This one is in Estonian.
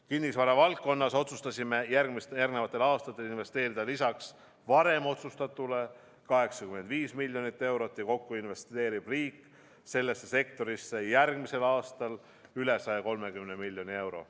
Kinnisvara valdkonnas otsustasime järgnevatel aastatel investeerida lisaks varem otsustatule 85 miljonit eurot ja kokku investeerib riik sellesse sektorisse järgmisel aastal üle 130 miljoni euro.